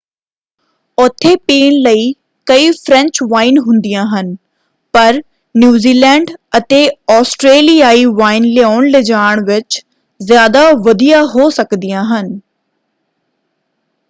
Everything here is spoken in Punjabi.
ਉੱਥੇ ਪੀਣ ਲਈ ਕਈ ਫ਼ਰੈਂਚ ਵਾਈਨ ਹੁੰਦੀਆਂ ਹਨ ਪਰ ਨਿਊਜ਼ੀਲੈਂਡ ਅਤੇ ਆਸਟਰੇਲੀਆਈ ਵਾਈਨ ਲਿਆਉਣ-ਲਿਜਾਣ ਵਿੱਚ ਜ਼ਿਆਦਾ ਵਧੀਆ ਹੋ ਸਕਦੀਆਂ ਹਨ।